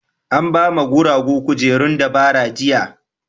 An ba ma guragu kujerun dabara jiya.